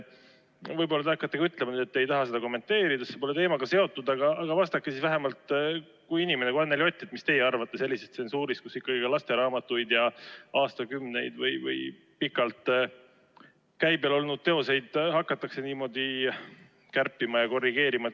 Võib-olla te hakkate ka ütlema, et te ei taha seda kommenteerida, see pole teemaga seotud, aga vastake siis vähemalt kui inimene, kui Anneli Ott, mis teie arvate sellisest tsensuurist, kus lasteraamatuid ja aastakümneid või pikalt käibel olnud teoseid hakatakse niimoodi kärpima ja korrigeerima.